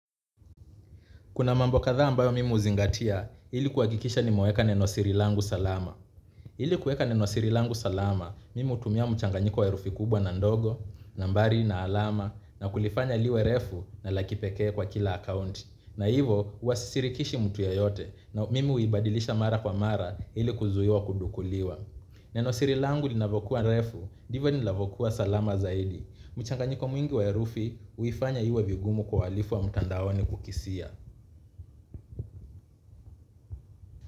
Kuna mambo kadhaa ambayo mimi huzingatia, ili kuhakikisha nimeweka nenosiri langu salama. Ili kuweka nenosiri angu salama, mimi hutumia mchanganyiko wa herufi kubwa na ndogo, nambari na alama, na kulifanya liwe refu na la kipekee kwa kila account. Na hivo, huwa sisirikishi mtu yoyote, na mimi huibadilisha mara kwa mara ili kuzuiwa kudukuliwa. Nenosiri langu linavokuwa refu, ndivo nilavokuwa salama zaidi. Mchanganyiko mwingi wa herufi, huifanya iwe vigumu kwa wahalifu wa mtandaoni kukisia.